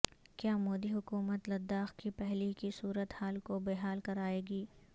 کیامودی حکومت لداخ کی پہلے کی صورت حال کوبحال کرائے گی